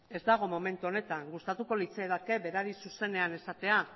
ez dago momentu honetan gustatuko litzaidake berari zuzenean esatea